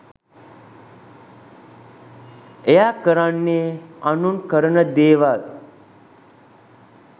එයා කරන්නේ අනුන් කරන දේවල්